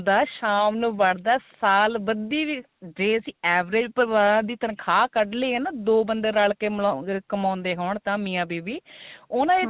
ਜਾਂਦਾ ਸ਼ਾਮ ਨੂੰ ਵੜਦਾ ਸਾਲ ਬੱਦੀ ਵੀ ਜੇ ਅਸੀਂ average ਪਰਿਵਾਰਾਂ ਦੀ ਤਨਖਾਹ ਕੱਢ ਲਈਏ ਤਾਂ ਦੋ ਬੰਦੇ ਰਲ ਕੇ ਕਮਾਉਂਦੇ ਹੋਣ ਮਿਆ ਬੀਬੀ ਉਹਨਾ ਦੇ